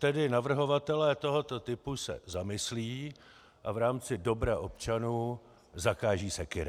Tedy navrhovatelé tohoto typu se zamyslí a v rámci dobra občanů zakážou sekyry.